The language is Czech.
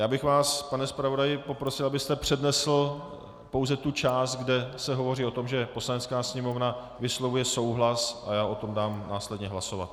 Já bych vás, pane zpravodaji, poprosil, abyste přednesl pouze tu část, kde se hovoří o tom, že Poslanecká sněmovna vyslovuje souhlas, a já o tom dám následně hlasovat.